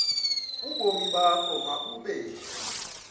ubomi bakho mabube